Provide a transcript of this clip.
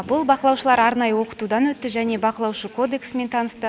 бұл бақылаушылар арнайы оқытудан өтті және бақылаушы кодексімен танысты